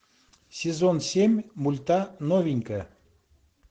сезон семь мульта новенькая